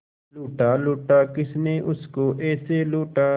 लूटा लूटा किसने उसको ऐसे लूटा